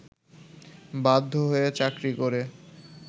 বাধ্য হয়ে চাকরি করে